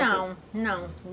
Não, não.